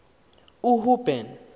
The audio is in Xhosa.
uhuben